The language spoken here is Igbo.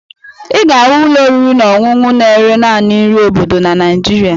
Ị ga-ahụ ụlọ oriri na ọṅụṅụ na-ere naanị nri obodo na Naịjirịa